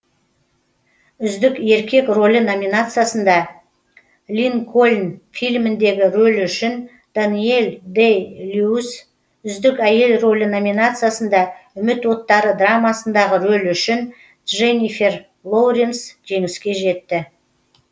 үздік еркек рөлі номинациясында линкольн фильміндегі рөлі үшін дэниэл дэй льюис үздік әйел рөлі номинациясында үміт оттары драмасындағы рөлі үшін дженнифер лоуренс жеңіске жетті